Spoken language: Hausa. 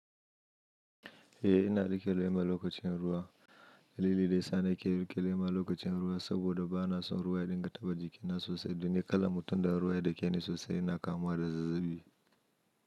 Eh ina riƙe lema lokacin ruwa. Dalili da yasa nake riƙe lema lokacin ruwa saboda ba na son ruwa ya dinga taɓa jikina sosai. Don ni ƙalar mutum da ruwa yadakeni sosai ina kamuwa da zazzabi.